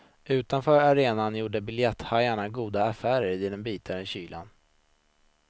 Utanför arenan gjorde biljetthajar goda affärer i den bitande kylan.